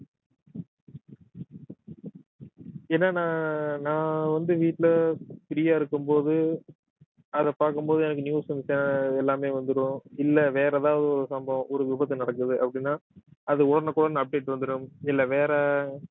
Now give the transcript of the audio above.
என்னனா நான் வந்து வீட்டுல free யா இருக்கும்போது அதை பாக்கும்போது எனக்கு news and channel~ எல்லாமே வந்துரும் இல்ல வேற ஏதாவது ஒரு சம்பவம் ஒரு விபத்து நடக்குது அப்படின்னா அது உடனுக்குடன் update வந்துரும் இல்ல வேற